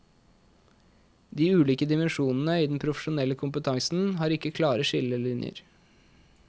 De ulike dimensjonene i den profesjonelle kompetansen har ikke klare skillelinjer.